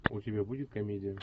у тебя будет комедия